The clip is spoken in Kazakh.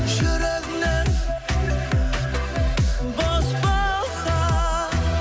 жүрегіңнен бос болса